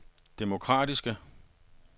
demokratiske